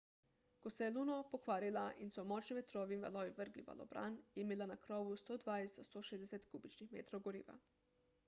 ko se je luno pokvarila in so jo močni vetrovi in valovi vrgli v valobran je imela na krovu 120–160 kubičnih metrov goriva